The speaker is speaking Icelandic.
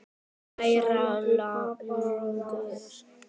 Kæra Inger.